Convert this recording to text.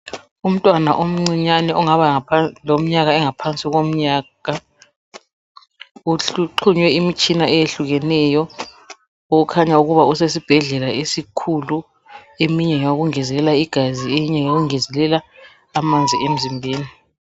Umntwana omncinyane ongaba leminyaka engaba ngaphansi komnyaka uxhunyiwe imitshina eyehlukeneyo okukhanya ukuba usesibhedlela esikhulu. Eminye ngeyikungezelela igazi eminye ngeyokungezelela amanzi emzimbeni.